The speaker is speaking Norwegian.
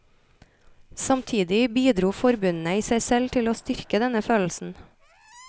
Samtidig bidro forbundene i seg selv til å styrke denne følelsen.